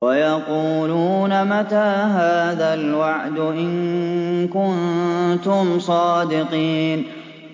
وَيَقُولُونَ مَتَىٰ هَٰذَا الْوَعْدُ إِن كُنتُمْ صَادِقِينَ